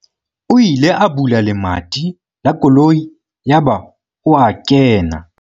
o ile a bula lemati la koloi yaba o a kena